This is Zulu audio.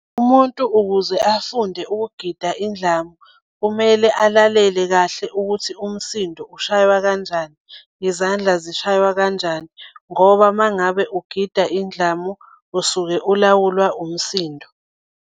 Umuntu ukuze afunde ukugida indlamu kumele alalele kahle ukuthi umsindo ushaywa kanjani nezandla zishaywe kanjani, ngoba uma ngabe ugida indlamu usuke ulawulwa umsindo.